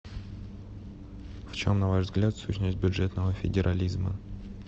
в чем на ваш взгляд сущность бюджетного федерализма